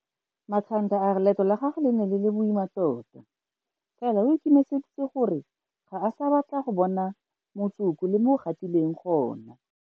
Makhanda a re leeto la gagwe le ne le le boima tota, fela o ikemiseditse gore ga a sa batla go bona motsoko le mo o gatileng gone.